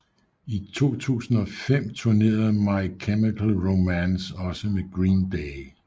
I 2005 tournerede My Chemical Romance også med Green Day